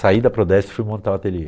Saí da Prodeste e fui montar o ateliê.